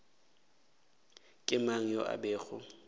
ke mang yo a bego